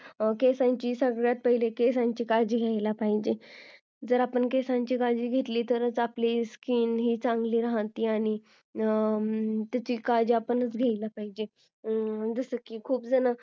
सगळ्यात पहिली केसांची काळजी घेतली पाहिजे जर आपण केसांची काळजी घेतली तरच आपण skin चांगली राहते आणि त्याची काळजी आपल्यालाच घ्यायला पाहिजे जसं की खूप जण